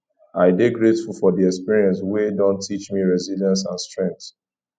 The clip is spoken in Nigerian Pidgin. i dey grateful for the experiences wey don teach me resilience and strength